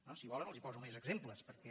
no si volen els en poso més exemples perquè